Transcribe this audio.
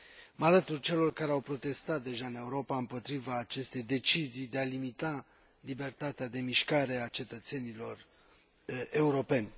Mă alătur celor care au protestat deja în Europa împotriva acestei decizii de a limita libertatea de mișcare a cetățenilor europeni.